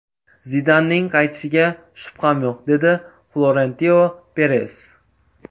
Zidanning qaytishiga shubham yo‘q”, dedi Florentino Peres.